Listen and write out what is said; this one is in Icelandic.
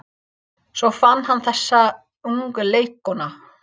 Svo fann hann þessa ungu leikkonu.